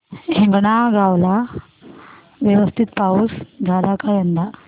हिंगणगाव ला व्यवस्थित पाऊस झाला का यंदा